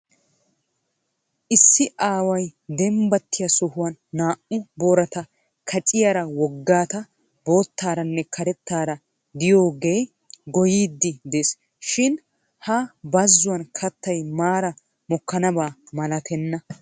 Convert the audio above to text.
Issi aaway dembbattiya sohuwan naa"u boorata kacciyaara woggata boottaaranne karettaara diyoogeeya goyyidi des shin ha bazzuwan kattay maara mokkanaba malatenna.